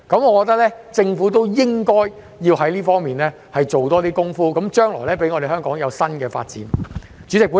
我認為，政府應該在這方面多做些工夫，讓香港將來有新的發展。